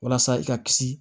Walasa i ka kisi